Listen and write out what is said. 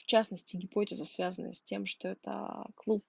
в частности гипотеза связанная с тем что это аа клуб